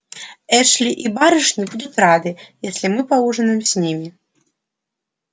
эшли и барышни будут рады если мы поужинаем с ними